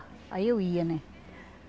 Aí eu ia, né?